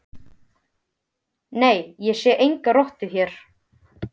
Nei, ég sé enga rottu hér